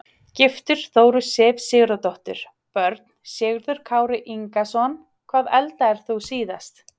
Giftur: Þóru Sif Sigurðardóttur Börn: Sigurður Kári Ingason Hvað eldaðir þú síðast?